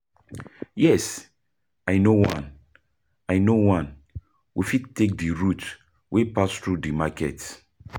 Yes, i know one, i know one, we fit take di route wey pass through di market.